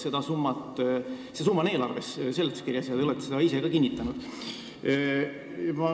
See summa on eelarve seletuskirjas ja te olete seda ka kinnitanud.